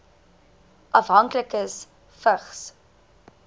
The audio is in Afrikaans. afhanklikes vigs